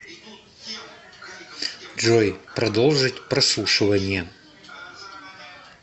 джой продолжить прослушивание